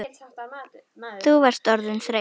Þú varst orðin þreytt.